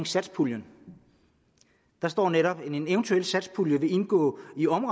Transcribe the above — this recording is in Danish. satspuljen der står netop en eventuel satspulje vil indgå